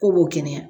K'u b'o kɛnɛya